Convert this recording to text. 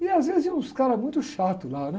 E, às vezes, iam uns caras muito chatos lá, né?